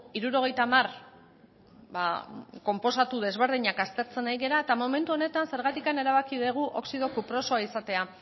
hirurogeita hamar konposatu desberdinak aztertzen nahi gera eta momentu honetan zergatik erabaki dugu oxido kuprosoa izatea